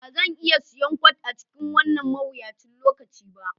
Ba zan iya siyan kwat a cikin wannan mawuyacin lokaci ba